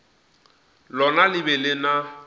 lona le be le na